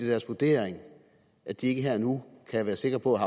deres vurdering at de ikke her og nu kan være sikre på at